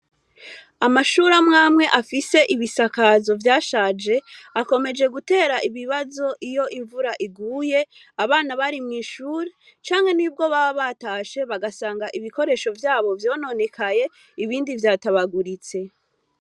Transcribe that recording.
Amashure amwe amwe afise ibisakazo vyashaje akomeje gutera ibibazo iyo imvura iguye abana bari mwishuri canke nubwo baba batashe bagasanga ibikoresho vyabo vyononekaye canke vyatabaguritse.